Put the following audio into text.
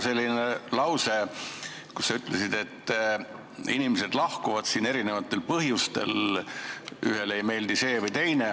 Mulle jäi kõrvu lause, kus sa ütlesid, et inimesed lahkuvad siit erinevatel põhjustel, ühele ei meeldi üks ja teisele teine.